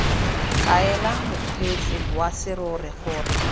kaela mokgweetsi wa serori gore